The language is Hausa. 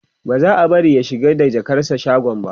ba za'a bari ya shiga da jakarsa shagon ba